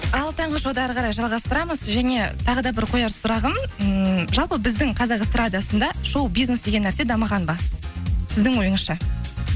ал таңғы шоуды әрі қарай жалғастырамыз және тағы да бір қояр сұрағым ммм жалпы біздің қазақ эстардасында шоу бизнес деген нәрсе дамыған ба сіздің ойыңызша